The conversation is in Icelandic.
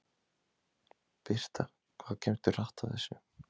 Birta: Hvað kemstu hratt á þessu?